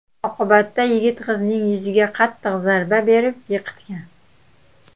Oqibatda yigit qizning yuziga qattiq zarba berib yiqitgan.